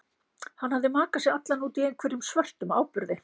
Hann hafði makað sig allan út í einhverjum svörtum áburði.